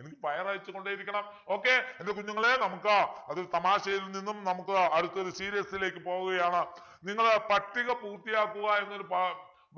എനിക്ക് fire അയച്ചുകൊണ്ടേ ഇരിക്കണം okay എൻ്റെ കുഞ്ഞുങ്ങളെ നമുക്ക് അത് തമാശയിൽ നിന്നും നമുക്ക് അടുത്തൊരു serious ലേക്ക് പോവുകയാണ് നിങ്ങള് പട്ടിക പൂർത്തിയാക്കുക എന്നൊരു ഭ